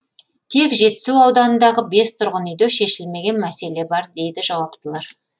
тек жетісу ауданындағы бес тұрғын үйде шешілмеген мәселе бар дейді жауаптылар